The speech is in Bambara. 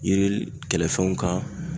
Yiri kɛlɛfɛnw kan.